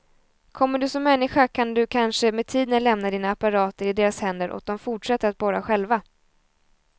Kommer du som människa kan du kanske med tiden lämna dina apparater i deras händer och de fortsätter att borra själva.